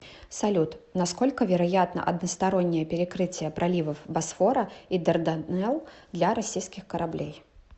салют насколько вероятно одностороннее перекрытие проливов босфора и дарданелл для российских кораблей